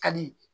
Ka di